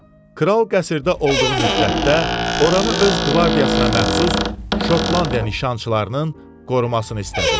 Kral qəsrdə olduğu müddətdə oranı öz qvardiyasına məxsus Şotlandiya nişançılarının qorumasını istədi.